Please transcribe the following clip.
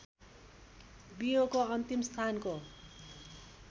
बियोको अन्तिम स्थानको